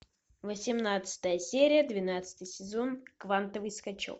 восемнадцатая серия двенадцатый сезон квантовый скачок